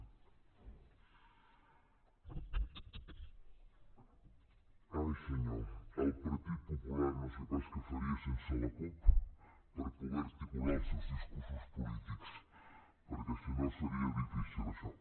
ai senyor el partit popular no sé pas què faria sense la cup per poder articular els seus discursos polítics perquè si no seria difícil això